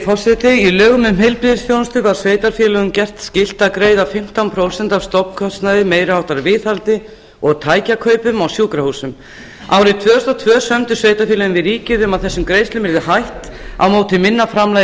forseti í lögum um heilbrigðisþjónustu var sveitarfélögum gert skylt að greiða fimmtán prósent af stofnkostnaði meiri háttar viðhaldi og tækjakaupum á sjúkrahúsum árið tvö þúsund og tvö sömdu sveitarfélögin við ríkið um að þessum greiðslum yrði hætt á móti minna framlagi